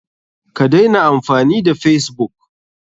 Ka daina amfani da facebook!